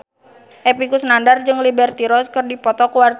Epy Kusnandar jeung Liberty Ross keur dipoto ku wartawan